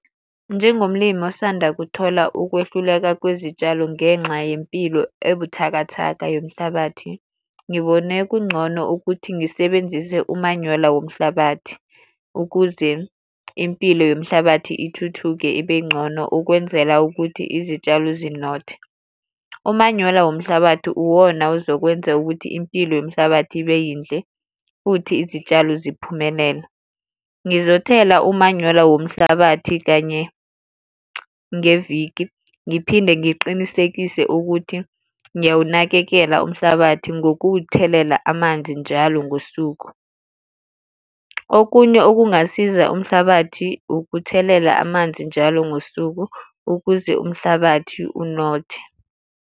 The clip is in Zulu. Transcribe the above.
Njengomlimi osanda kuthola ukwehluleka kwezitshalo ngenxa yempilo ebuthakathaka yomhlabathi, ngibone kungcono ukuthi ngisebenzise umanyola womhlabathi ukuze impilo yomhlabathi ithuthuke ibengcono ukwenzela ukuthi izitshalo zinothe. Umanyola womhlabathi uwona ozokwenzeka ukuthi impilo yomhlabathi ibe yinhle, futhi izitshalo ziphumelele. Ngizothela umanyola womhlabathi kanye ngeviki, ngiphinde ngiqinisekise ukuthi ngiyawunakekela umhlabathi ngokuwuthelela amanzi njalo ngosuku. Okunye okungasiza umhlabathi ukuthelela amanzi njalo ngosuku ukuze umhlabathi unothe.